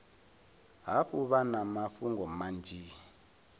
hafhu vha na mafhungo manzhi